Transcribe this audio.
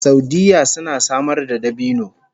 Saudiyya suna samar da dabino